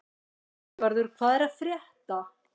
Játvarður, hvað er að frétta?